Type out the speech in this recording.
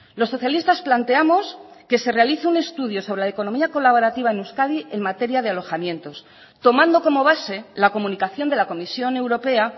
los socialistas planteamos que se realice un estudio sobre la economía colaborativa en euskadi en materia de alojamientos tomando como base la comunicación de la comisión europea